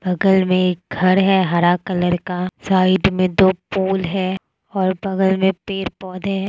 बगल में एक घर है हरा कलर का साइड में दो पुल है और बगल में पेड़ पौधे हे।